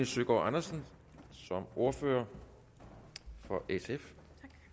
søgaard andersen som ordfører for sf